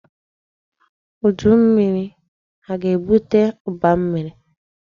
Udu mmiri aga-ebute ụba nri?